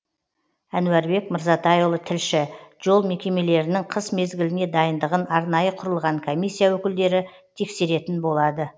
әнуарбек мырзатайұлы тілші жол мекемемелірінің қыс мезгіліне дайындығын арнайы құрылған комиссия өкілдері тексеретін болады